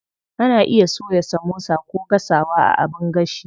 Ana iya soya samosa ko gasawa a abin gashi.